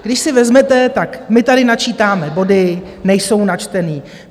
Když si vezmete, tak my tady načítáme body - nejsou načteny.